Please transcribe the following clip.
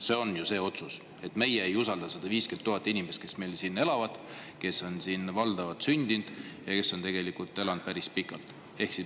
See on ju see otsus, et meie ei usalda 150 000 inimest, kes siin elavad, kes on valdavalt siin sündinud ja kes on tegelikult siin päris pikalt elanud.